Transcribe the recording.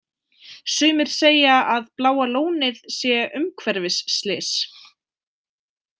Sumir segja að Bláa lónið sé umhverfisslys.